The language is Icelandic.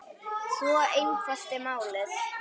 Svo einfalt er málið.